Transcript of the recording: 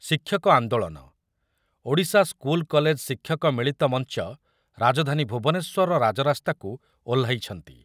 ଶିକ୍ଷକ ଆନ୍ଦୋଳନ, Odisha school college ଶିକ୍ଷକ ମିଳିତ ମଞ୍ଚ ରାଜଧାନୀ ଭୁବନେଶ୍ୱରର ରାଜରାସ୍ତାକୁ ଓହ୍ଲାଇଛନ୍ତି ।